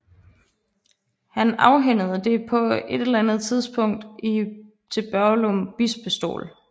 Han afhændede det på et eller andet tidspunkt til Børglum Bispestol